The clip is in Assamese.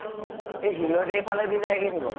এই শিল্দৈ ফালেদি যায়্গে নেকি বাৰু ?